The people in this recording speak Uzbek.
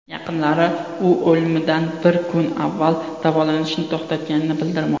Yaqinlari u o‘limidan bir kun avval davolanishni to‘xtatganini bildirmoqda.